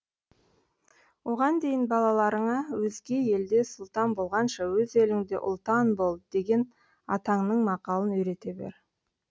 оған дейін балаларыңа өзге елде сұлтан болғанша өз еліңде ұлтан бол деген атаңның мақалын үйрете бер